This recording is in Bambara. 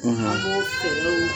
an b'o fɛrɛw